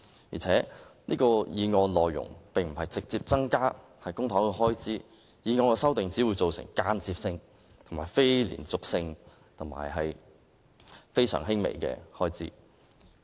而且，這項決議案的內容並無直接提出增加公帑開支，有關修訂只會造成間接性、非連續性及非常輕微的開支。